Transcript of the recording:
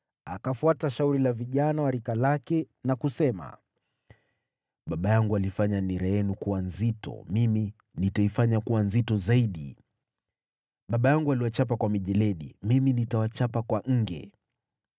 akafuata shauri la vijana wa rika lake na kusema, “Baba yangu alifanya nira yenu kuwa nzito, mimi nitaifanya kuwa nzito zaidi. Baba yangu aliwachapa kwa mijeledi, mimi nitawachapa kwa nge.”